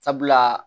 Sabula